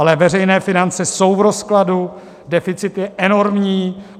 Ale veřejné finance jsou v rozkladu, deficit je enormní.